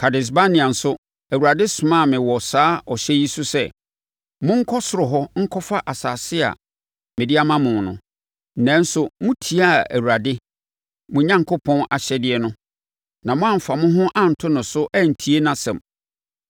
Kades-Barnea nso, Awurade somaa mo wɔ saa ɔhyɛ yi so sɛ, “Monkɔ soro hɔ nkɔfa asase a mede ama mo no”. Nanso, motiaa Awurade mo Onyankopɔn ahyɛdeɛ no na moamfa mo ho anto no so antie nʼasɛm.